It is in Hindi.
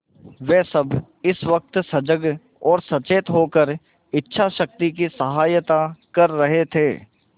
वे सब इस वक्त सजग और सचेत होकर इच्छाशक्ति की सहायता कर रहे थे